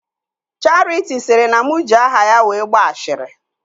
Charity sịrị na mụ ji aha ya wee gbaa ashịrị